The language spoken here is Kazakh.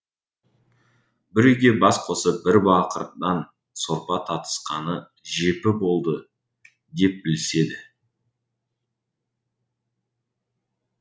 бір үйге бас қосып бір бақырдан сорпа татысқаны жепі болды деп біліседі